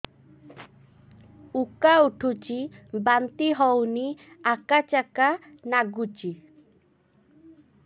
ଉକା ଉଠୁଚି ବାନ୍ତି ହଉନି ଆକାଚାକା ନାଗୁଚି